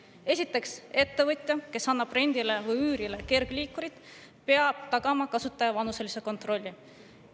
Esiteks, ettevõtja, kes annab rendile või üürile kergliikuri, peab tagama kasutaja vanuselise kontrolli.